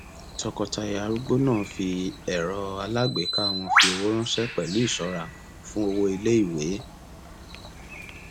tọkọtaya arúgbó náà fi ẹrọ alágbèéká wọn fi owó ránṣẹ pẹlú ìṣọra fún owó iléìwé